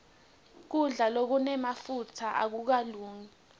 kudla lokunemafutsa akukalungi